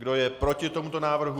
Kdo je proti tomuto návrhu?